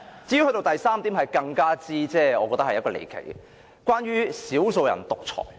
至於第三點則更是離奇，關於"少數人獨裁"。